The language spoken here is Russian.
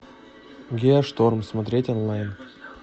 геошторм смотреть онлайн